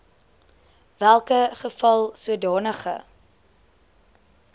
welke geval sodanige